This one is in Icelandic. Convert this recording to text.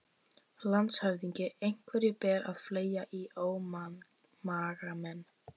LANDSHÖFÐINGI: Einhverju ber að fleygja í ómagamenn.